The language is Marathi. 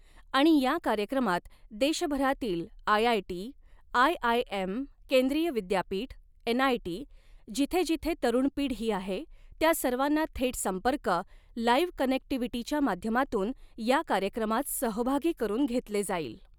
आणि या कार्यक्रमात देशभरातील आयआयटी, आयआयएम, केंद्रीय विद्यापीठ, एनआयटी, जिथे जिथे तरुण पिढी आहे त्या सर्वांना थेट संपर्क, लाइव्ह कनेक्टीव्हीटीच्या माध्यमातून या कार्यक्रमात सहभागी करुन घेतले जाईल.